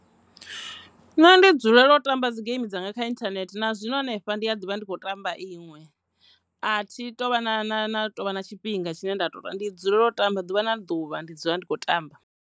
Nṋe ndi dzulela u tamba dzi game dzanga kha internet na zwino hanefha ndi a ḓivha ndi kho tamba iṅwe, a thi tu vha na na na tovha na tshifhinga tshine nda tou ndi dzulela u tamba ḓuvha na ḓuvha ndi dzula ndi kho tamba.